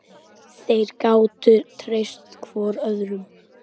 Þeir gátu treyst hvor öðrum.